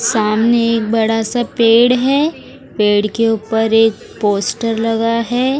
सामने एक बड़ा सा पेड़ है पेड़ के ऊपर एक पोस्टर लगा है।